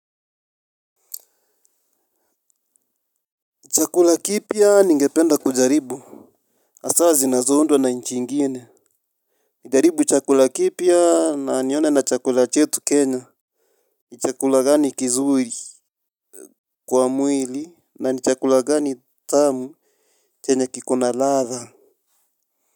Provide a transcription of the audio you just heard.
Chakula kipya ningependa kujaribu hasa zinazoundwa na nchi ingine. Nijaribu chakula kipya na nione na chakula chetu kenya. Ni chakula gani kizuri kwa mwili. Na ni chakula gani tamu chenye kikona ladha.